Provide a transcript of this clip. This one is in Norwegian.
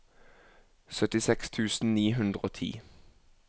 syttiseks tusen ni hundre og ti